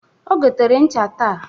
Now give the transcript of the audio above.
O gotere ncha taa.